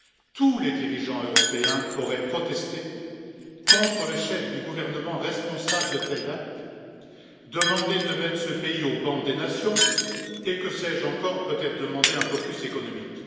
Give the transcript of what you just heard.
tous les dirigeants européens auraient protesté contre le chef du gouvernement responsable de ces actes, demandé de mettre ce pays au ban des nations et que sais je encore, peut être demandé un blocus économique.